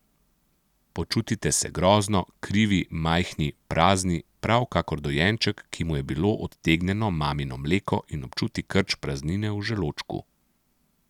Počutite se grozno, krivi, majhni, prazni, prav kakor dojenček, ki mu je bilo odtegnjeno mamino mleko in občuti krč praznine v želodčku.